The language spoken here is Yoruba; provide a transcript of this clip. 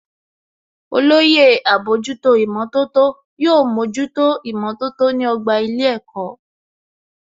Olóyè àbójútó ìmọ̀tótó yóò mójútó ìmọ̀tótó ní ọgbà ilé ẹ̀kọ́